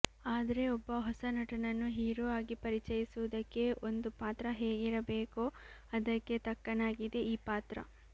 ಆದ್ರೆ ಒಬ್ಬ ಹೊಸ ನಟನನ್ನು ಹೀರೋ ಆಗಿ ಪರಿಚಯಿಸುವುದಕ್ಕೆ ಒಂದು ಪಾತ್ರ ಹೇಗಿರಬೇಕೋ ಅದಕ್ಕೆ ತಕ್ಕನಾಗಿದೆ ಈ ಪಾತ್ರ